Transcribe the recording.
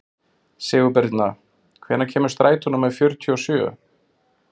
Sigurbirna, hvenær kemur strætó númer fjörutíu og sjö?